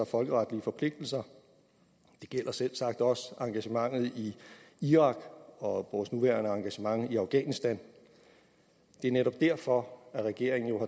folkeretlige forpligtelser det gælder selvsagt også engagementet i irak og vores nuværende engagement i afghanistan det er netop derfor at regeringen jo